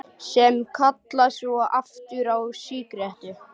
Sem kalla svo aftur á sígarettu.